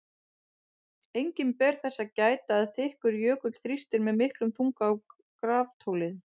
Einnig ber þess að gæta að þykkur jökull þrýstir með miklum þunga á graftólin.